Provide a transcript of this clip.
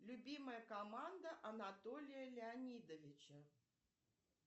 любимая команда анатолия леонидовича